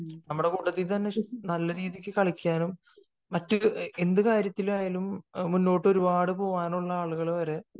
നമ്മളെ കൂട്ടത്തിൽ തന്നെ നല്ല രീതിയിൽ കളിക്കാനും എന്ത് കാര്യത്തിലായാലും മുന്നോട്ടു ഒരുപാട് പോവാനുള്ള ആളുകൾ വരെ